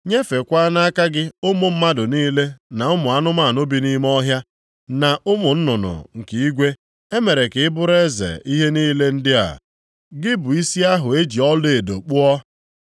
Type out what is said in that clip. nyefeekwa nʼaka gị ụmụ mmadụ niile na ụmụ anụmanụ bi nʼime ọhịa, na ụmụ nnụnụ nke igwe, e mere ka ị bụrụ eze ihe niile ndị a, gị bụ isi ahụ e ji ọlaedo kpụọ.